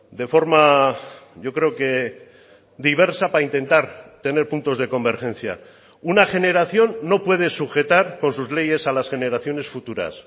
de forma yo creo que diversa para intentar tener puntos de convergencia una generación no puede sujetar con sus leyes a las generaciones futuras